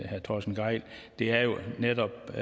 herre torsten gejl det er jo netop